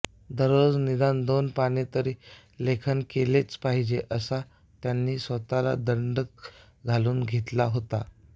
दररोज निदान दोन पाने तरी लेखन केलेच पाहिजे असा त्यांनी स्वतला दंडक घालून घेतला होता